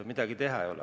Midagi teha ei ole.